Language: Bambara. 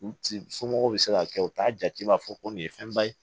U somɔgɔw bɛ se ka kɛ u t'a jate b'a fɔ ko nin ye fɛnba ye